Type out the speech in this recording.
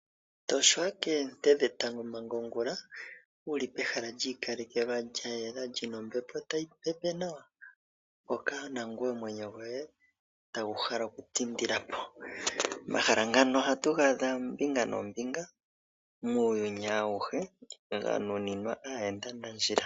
Toshwa koonte dhetango manga ongula wuli pehala lyi ikalelwa lyayela lyino ombepo tayi pepe nawa hoka nangoye omwenyo goye tagu hala oku tindilapo. Omahala ngano ohatu ga adha ombinga noombinga muuyuni awuhe ga nuninwa aayenda nandjila.